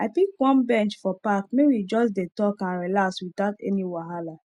i pick one bench for park may we just dey talk and relax without any wahala